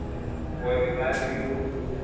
go re ba re yo